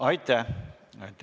Aitäh!